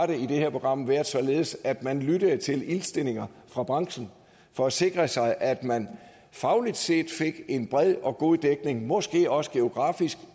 det her program været således at man lyttede til indstillinger fra branchen for at sikre sig at man fagligt set fik en bred og god dækning måske også geografisk